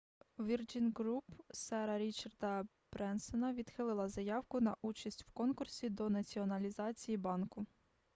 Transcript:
virgin group сера річарда бренсона відхилила заявку на участь в конкурсі до націоналізації банку